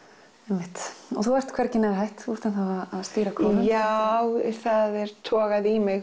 einmitt og þú ert hvergi nærri hætt þú ert enn að stýra kórum já það er togað í mig